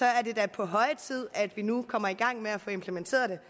er det da på høje tid at vi nu kommer i gang med at få implementeret det